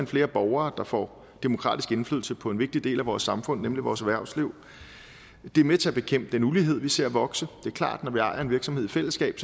flere borgere der får demokratisk indflydelse på en vigtig del af vores samfund nemlig vores erhvervsliv det er med til at bekæmpe den ulighed vi ser vokse det er klart at når vi ejer en virksomhed i fællesskab